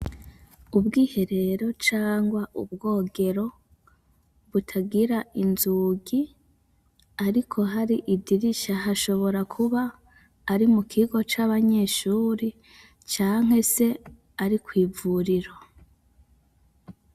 Ubwiherero cangwa ubwogero butagira inzugi ariko hari idirisha hashobora kuba ari mu kigo c'abanyeshuri canke se ari kw'ivuriro.